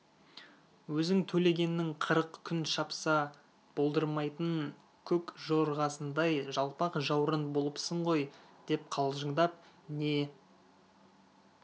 өзің төлегеннің қырық күн шапса болдырмайтын көк жорғасындай жалпақ жаурын болыпсың ғой деп қалжыңдап не